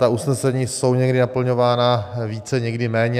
Ta usnesení jsou někdy naplňována více, někdy méně.